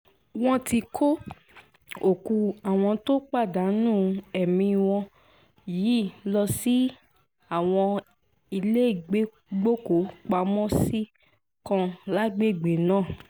wọ́n ti kó òkú àwọn tó pàdánù ẹ̀mí wọn yìí lọ sí àwọn iléégbòkúù-pamọ́-sí kan lágbègbè náà